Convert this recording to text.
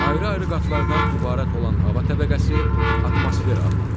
Ayrı-ayrı qatlardan ibarət olan hava təbəqəsi atmosfer adlanır.